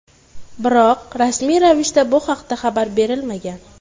Biroq rasmiy ravishda bu haqda xabar berilmagan.